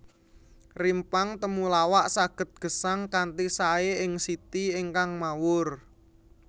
Rimpang temulawak saged gesang kanthi saé ing siti ingkang mawur